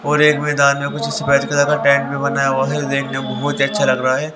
और एक मैदान में कुछ सफेद कलर का टेंट भी बना हुआ है जो देखने मे बहोत अच्छा लग रहा है।